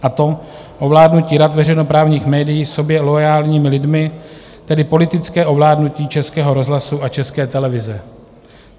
Je to ovládnutí rad veřejnoprávních médií sobě loajálními lidmi, tedy politické ovládnutí Českého rozhlasu a České televize.